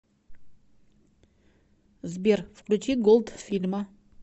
сбер включи голдфильма